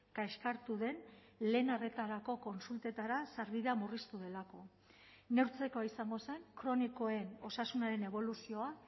kaskartu den lehen arretarako kontsultetara sarbidea murriztu delako neurtzekoa izango zen kronikoen osasunaren eboluzioa